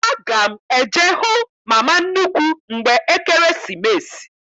Aga m eje hụ mama nnukwu mgbe Ekeresimesi.